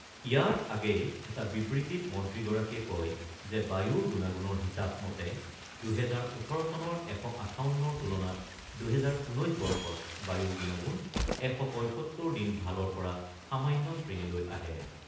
ইয়াৰ আগেয়ে এটা বিবৃতিত মন্ত্ৰীগৰাকীয়ে কয় যে বায়ুৰ গুণাগুণৰ হিচাব মতে ২০১৮ চনৰ ১৫৮ৰ তুলনাত ২০১৯ বৰ্ষত বায়ুৰ গুণাগুণ ১৭৫ দিন ভালৰ পৰা সামান্য শ্ৰেণীলৈ আহে।